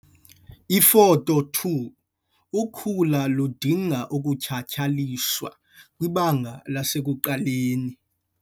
Ifoto 2- Ukhula ludinga ukutshatyalaliswa kwibanga lasekuqaleni.